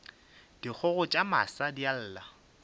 dikgogo tša masa di lla